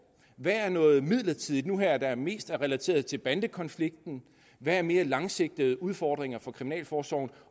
hvad er noget midlertidigt hvad er mest relateret til bandekonflikten hvad er mere langsigtede udfordringer for kriminalforsorgen